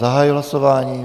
Zahajuji hlasování.